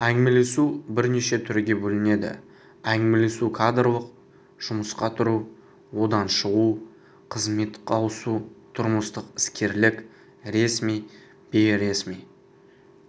әңгімелесу бірнеше түрге бөлінеді әңгімелесу кадрлық жұмысқа тұру одан шығу қызметтік ауысу тұрмыстық іскерлік ресми бейресми